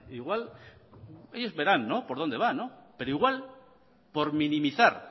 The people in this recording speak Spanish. igual ellos verán por dónde van pero igual por minimizar